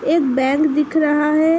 एक बैंक दिख रहा है ।